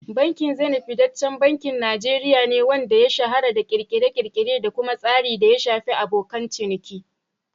Bankin Zenith fitaccen bankin Najeriya ne, wanda ya shahara da ƙirƙire-ƙirƙire da kuma tsarin da ya shafi abokan ciniki.